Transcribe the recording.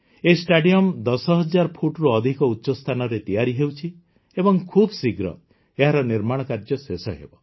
ଏହି ଷ୍ଟାଡିୟମ୍ ୧୦୦୦୦ ଫୁଟରୁ ଅଧିକ ଉଚ୍ଚସ୍ଥାନରେ ତିଆରି ହେଉଛି ଏବଂ ଖୁବଶୀଘ୍ର ଏହାର ନିର୍ମାଣ କାର୍ଯ୍ୟ ଶେଷ ହେବ